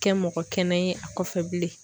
Kɛ mɔgɔ kɛnɛ ye a kɔfɛ bilen